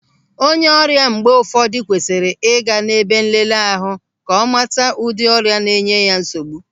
Onye ọrịa mgbe ụfọdụ kwesịrị ị ga n'ebe nleleahu ka ọ mata ụdị ọrịa na-enye ya nsogbu.